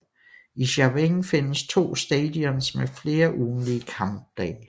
I Chaweng findes to stadions med flere ugentlige kampdage